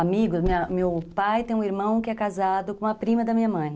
amigos, meu pai tem um irmão que é casado com a prima da minha mãe.